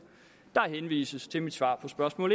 der henvises til mit svar på spørgsmål